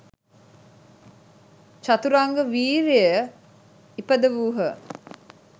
චතුරංග වීර්යය ඉපදවූහ.